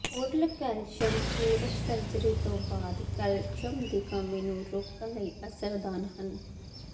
oral calcium ਪੂਰਕ surgery ਤੋਂ ਬਾਅਦ ਕੈਲਸ਼ੀਅਮ ਦੀ ਕਮੀ ਨੂੰ ਰੋਕਣ ਲਈ ਅਸਰਦਾਰ ਹਨ